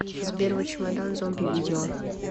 сбер зе чемодан зомби видео